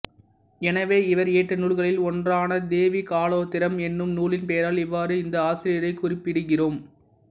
எனவே இவர் இயற்றிய நூல்களில் ஒன்றான தேவி காலோத்தரம் என்னும் நூலின் பெயரால் இவ்வாறு இந்த ஆசிரியரைக் குறிப்பிடுகிறோம்